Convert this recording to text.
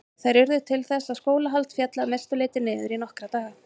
Þær urðu til þess að skólahald féll að mestu leyti niður í nokkra daga.